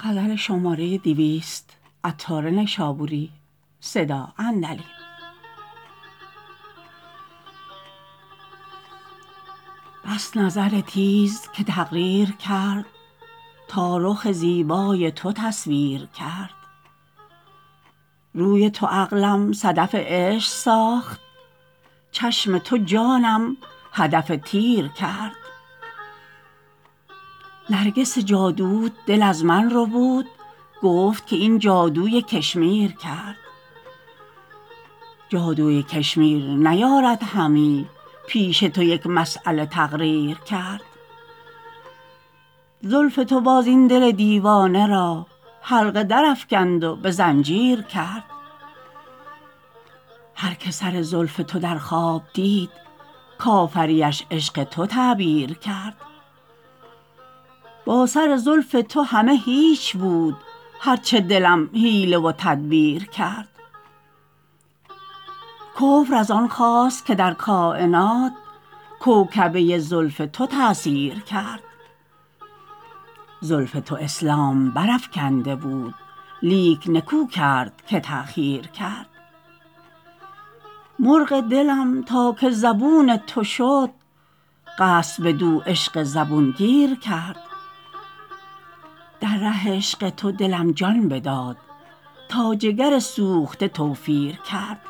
بس نظر تیز که تقدیر کرد تا رخ زیبای تو تصویر کرد روی تو عقلم صدف عشق ساخت چشم تو جانم هدف تیر کرد نرگس جادوت دل از من ربود گفت که این جادوی کشمیر کرد جادوی کشمیر نیارد همی پیش تو یک مسیله تقریر کرد زلف تو باز این دل دیوانه را حلقه درافکند و به زنجیر کرد هر که سر زلف تو در خواب دید کافریش عشق تو تعبیر کرد با سر زلف تو همه هیچ بود هرچه دلم حیله و تدبیر کرد کفر از آن خاست که در کاینات کوکبه زلف تو تأثیر کرد زلف تو اسلام برافکنده بود لیک نکو کرد که تاخیر کرد مرغ دلم تا که زبون تو شد قصد بدو عشق زبون گیر کرد در ره عشق تو دلم جان بداد تا جگر سوخته توفیر کرد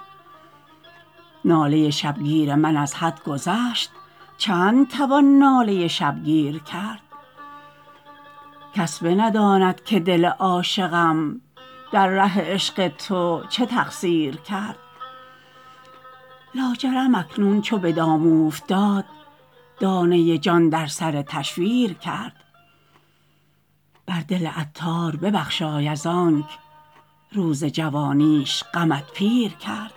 ناله شبگیر من از حد گذشت چند توان ناله شبگیر کرد کس بنداند که دل عاشقم در ره عشق تو چه تقصیر کرد لاجرم اکنون چو به دام اوفتاد دانه جان در سر تشویر کرد بر دل عطار ببخشای از آنک روز جوانیش غمت پیر کرد